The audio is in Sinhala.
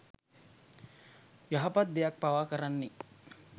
යහපත් දෙයක් පවා කරන්නේ